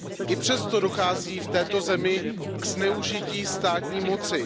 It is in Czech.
I přesto dochází v této zemi ke zneužití státní moci.